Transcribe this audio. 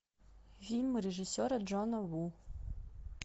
фильм режиссера джона ву